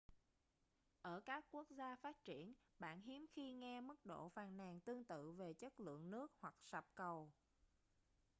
ở các quốc gia phát triển bạn hiếm khi nghe mức độ phàn nàn tương tự về chất lượng nước hoặc sập cầu